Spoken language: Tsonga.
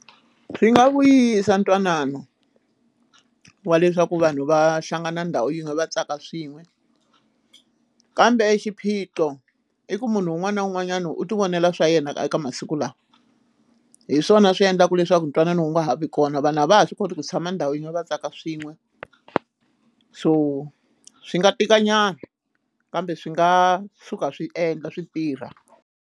Swi nga vuyisa ntwanano wa leswaku vanhu va hlangana ndhawu yin'we va tsaka swin'we kambe xiphiqo i ku munhu un'wana na un'wanyana u ti vonela swa yena eka masiku lawa hi swona swi endlaka leswaku ntwanano wu nga ha vi kona vanhu a va ha swi koti ku tshama ndhawu yin'we va tsaka swin'we so swi nga tikanyana kambe swi nga suka swi endla swi tirha.